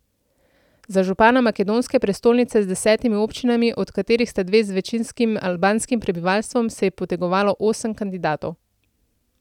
Za župana makedonske prestolnice z desetimi občinami, od katerih sta dve z večinskim albanskim prebivalstvom, se je potegovalo osem kandidatov.